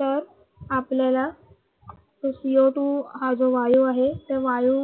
तर आपल्याला जो Co two हा जो वायू आहे तो वायू